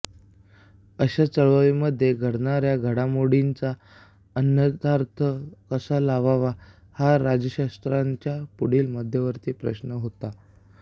अशा चळवळीमध्ये घडणाऱ्या घडामोडींचा अन्वयार्थ कसा लावावा हा राज्याशास्त्राज्ञांच्या पुढील मध्यवर्ती प्रश्न होता